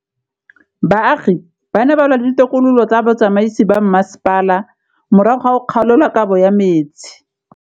Baagi ba ne ba lwa le ditokolo tsa botsamaisi ba mmasepala morago ga go gaolelwa kabo metsi